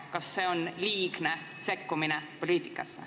Kas see on liigne poliitikasse sekkumine?